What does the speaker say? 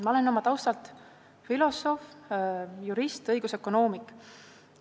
Ma olen oma taustalt filosoof, jurist, õigusökonoomik.